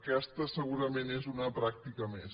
aquesta segurament és una pràctica més